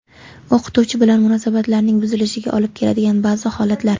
O‘qituvchi bilan munosabatlarning buzilishiga olib keladigan ba’zi xatolar.